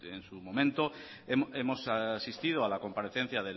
en su momento hemos asistido a la comparecencia